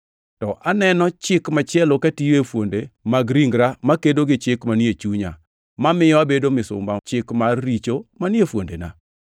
to aneno chik machielo katiyo e fuonde mag ringra makedo gi chik manie chunya, mamiyo abedo misumba Chik mar richo manie fuondena.